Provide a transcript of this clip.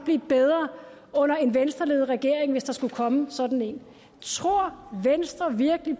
blive bedre under en venstreledet regering hvis der skulle komme sådan en tror venstre virkelig